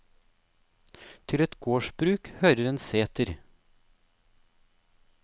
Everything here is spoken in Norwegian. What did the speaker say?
Til et gardsbruk hører en seter.